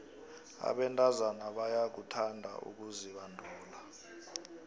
abentazana bayakuthanda ukuzibandula